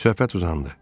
Söhbət uzandı.